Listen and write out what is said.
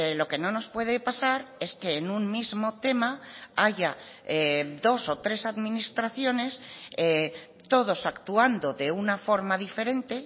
lo que no nos puede pasar es que en un mismo tema haya dos o tres administraciones todos actuando de una forma diferente